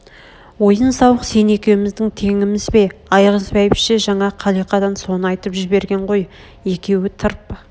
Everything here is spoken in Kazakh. ойын сауық сен екеуміздің теңіміз бе айғыз бәйбіше жаңа қалиқадан соны айтып жіберген ғой екеуі тырп